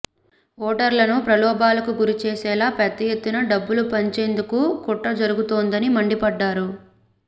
ఓటర్లను ప్రలోభాలకు గురిచేసేలా పెద్దఎత్తున డబ్బులు పంచేందుకు కుట్ర జరుగుతోందని మండిపడ్డారు